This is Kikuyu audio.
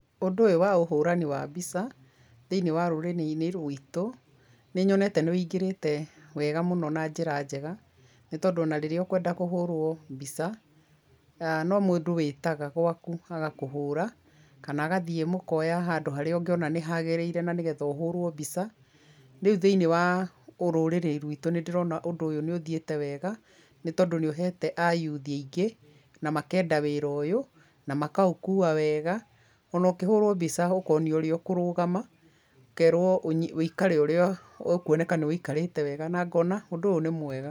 Ũndũ ũyũ wa ũhũrani wa mbica, thĩinĩ wa rũrĩrĩ-inĩ rwitũ, nĩ nyonete nĩ ũingĩrĩte wega mũno na njĩra njega, nĩ tondũ o na rĩrĩa ũkwenda kũhũrwo mbica, no mũndũ wĩtaga gwaku, agakũhũũra, kana agathiĩ mukoya handũ harĩa ũngĩona nĩ hagĩrĩire na nĩ getha ũhũrũo mbica. Rĩu thĩinĩ wa ũrũrĩrĩ rwitũ nĩ ndĩrona ũndũ ũyũ nĩ ũthiĩte wega, nĩ tondũ nĩ ũheete ayuthi aingĩ, na makenda wĩra ũyũ, na makaũkuwa wega, o na ũkĩhũũrwo mbica ũkonio ũrĩa ũkũrũgama, ũkerwo ũikare ũrĩa ũkwoneka nĩ ũikarĩte wega na ngona ũndũ ũyũ nĩ mwega.